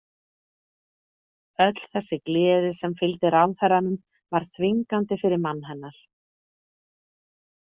Öll þessi gleði sem fylgdi ráðherranum var þvingandi fyrir mann hennar.